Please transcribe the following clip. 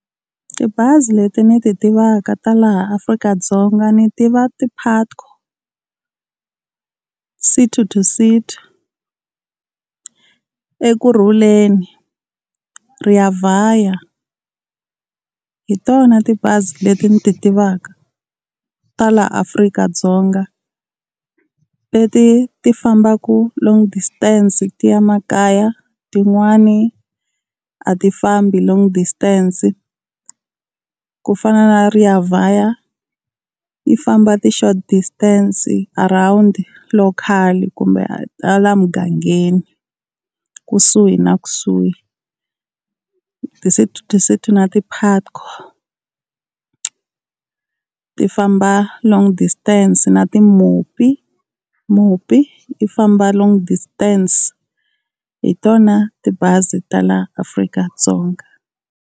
Tibazi leti ni ti tivaka ta laha Afrika-Dzonga ni tiva ti-Putco, City to City, Ekurhuleni, Rea Vaya hi tona tibazi leti ni ti tivaka ta laha Afrika-Dzonga. Leti ti fambaka long distance ti ya makaya, tin'wani a ti fambi long distance, kufana na Rea Vaya yi famba ti short distance around local kumbe halaya mugangeni kusuhi na kusuhi. Ti-City to City na ti-Patco ti famba long distance na ti-Mopi, Mopi ti famba long distance hi tona tibazi ta laha Afrika-Dzonga.